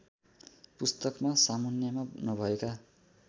पुस्तकमा सामुन्नेमा नभएका